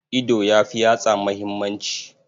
Ido ya fi yatsa muhimmanci.